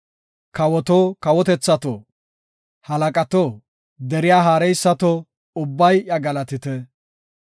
Kawoto, kawotethato, halaqato, deriya haareysato, ubbay iya galatite.